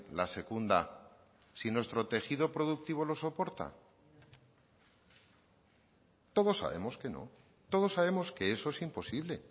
la secunda si nuestro tejido productivo lo soporta todos sabemos que no todos sabemos que eso es imposible